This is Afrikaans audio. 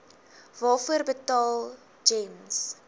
waarvoor betaal gems